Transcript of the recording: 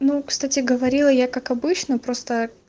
ну кстати говорила я как обычно просто